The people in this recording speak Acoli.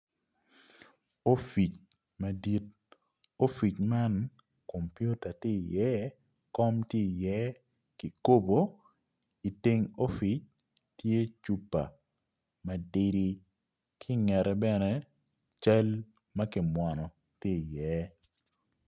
Opic madit opic man kompiota tye iye kom tye iye kikopo, iteng opic tye cupa matidi ki ingete bene cal ma kimwono tye iye.